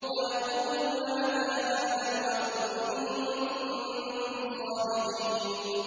وَيَقُولُونَ مَتَىٰ هَٰذَا الْوَعْدُ إِن كُنتُمْ صَادِقِينَ